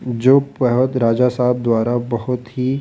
जो राजा साहब द्वारा बहुत ही--